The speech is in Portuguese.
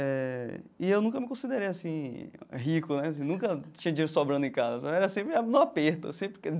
Eh e eu nunca me considerei assim rico né, nunca tinha dinheiro sobrando em casa, era sempre no aperto eu